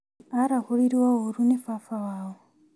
Arahũrirwo ũru nĩ baba wao